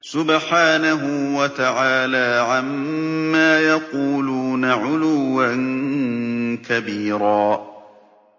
سُبْحَانَهُ وَتَعَالَىٰ عَمَّا يَقُولُونَ عُلُوًّا كَبِيرًا